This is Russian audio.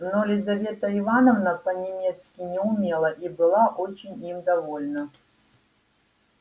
но лизавета ивановна по-немецки не умела и была очень им довольна